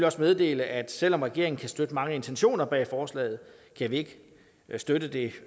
også meddele at selv om regeringen kan støtte mange af intentionerne bag forslaget kan vi ikke støtte det